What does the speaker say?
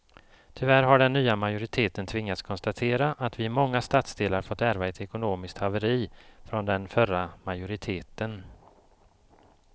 Tyvärr har den nya majoriteten tvingats konstatera att vi i många stadsdelar fått ärva ett ekonomiskt haveri från den förra majoriteten.